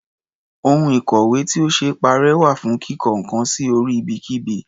Ohun ìkọ̀wé tí ò ṣee parẹ́ wà fún kíko nǹkan sí orí ibikíbi.